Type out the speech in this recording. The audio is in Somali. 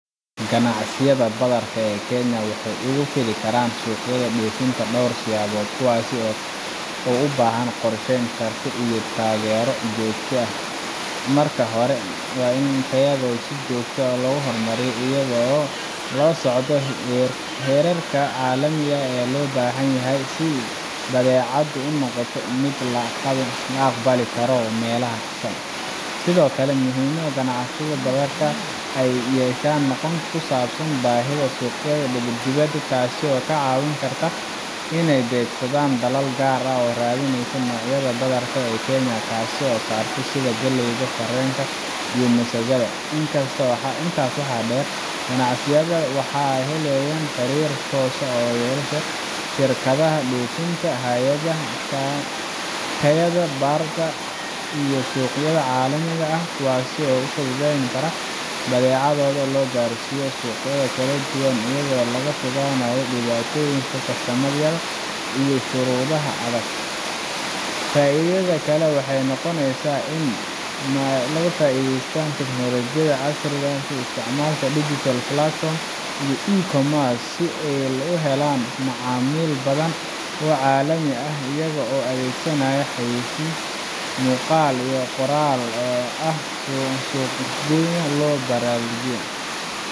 ganacsiyada badarka ee kenya waxay ugu fidin karaan suuqyada dhoofinta dhowr siyaabood kuwaas oo u baahan qorshe, karti, iyo taageero joogto ah marka hore waa in ay tayadooda si joogto ah u horumariyaan iyagoo la socda heerarka caalamiga ah ee loo baahan yahay si badeecadoodu u noqoto mid la aqbali karo meel kasta sidoo kale waa muhiim in ganacsatada badarka ay yeeshaan aqoon ku saabsan baahida suuqyada dibadda taas oo ka caawin karta inay beegsadaan dalal gaar ah oo raadinaya noocyada badarka ee kenya kasoo saarto sida galleyda, sarreenka, iyo masagada intaas waxaa dheer ganacsiyadaas waa in ay helaan xiriir toos ah oo ay la yeeshaan shirkadaha dhoofinta, hay’adaha tayada baarta, iyo suuqyada caalamiga ah kuwaas oo fududayn kara in badeecadooda loo gaarsiiyo suuqyo kala duwan iyadoo laga fogaanayo dhibaatooyinka kastamyada iyo shuruudaha adag faidada kale waxay noqonaysaa in ay ka faa’iidaystaan tignoolajiyada casriga ah sida isticmaalka digital platforms iyo e-commerce si ay u helaan macaamiil badan oo caalami ah iyagoo adeegsanaya xayaysiis muuqaal iyo qoraal ah si suuqooda loo balaariyo